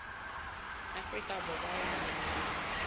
afrika borwa ya nang le